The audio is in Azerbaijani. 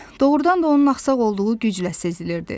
Doğrudan da onun axsaq olduğu güclə sezilirdi.